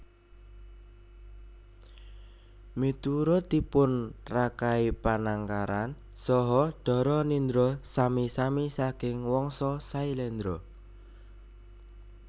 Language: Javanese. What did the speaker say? Miturutnipun Rakai Panangkaran saha Dharanindra sami sami saking Wangsa Sailendra